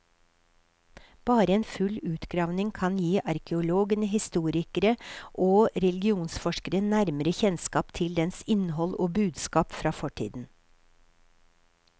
Bare en full utgravning kan gi arkeologene, historikere og religionsforskere nærmere kjennskap til dens innhold og budskap fra fortiden.